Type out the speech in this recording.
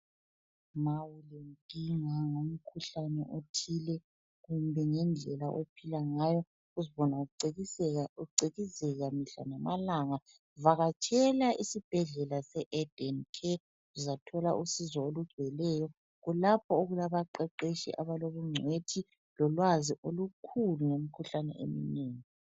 Uma ulenkinga ngomkhuhlane othile kumbe ngendlela ophila ngayo uzibone ucikizeka mihla lamalanga vakatshela esibhedlela se Eden Care uzathola usizo olugcweleyo kulapho okulaba qeqetshi abalobungcwethi lolwazi olukhulu ngemikhuhlane eminengi.